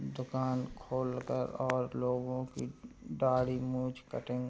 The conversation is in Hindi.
दुकान खोल कर और लोगों की दाढ़ी मोछ कटिंग --